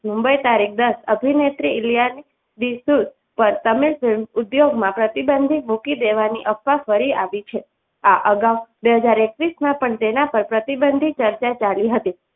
મુંબઈ તારીખ દસ અભિનેત્રી ઇલિયાના ડિક્રુઝ પર તમે film ઉદ્યોગમાં પ્રતિબંધિત મૂકી દેવાની અફવા ફરી આવી છે આ અગાઉ બે હાજર એકવીસ માં પણ તેના પર પ્રતિબંધ ની ચર્ચા ચાલી હતી.